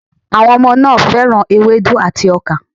Àwọn ọmọ náà fẹ́ràn ewédú àti ọkà